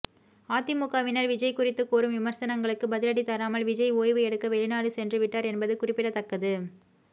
அதிமுகவினர் விஜய் குறித்து கூறும் விமர்சனங்களுக்கு பதிலடி தராமல் விஜய் ஓய்வு எடுக்க வெளிநாடு சென்றுவிட்டார் என்பது குறிப்பிடத்தக்கது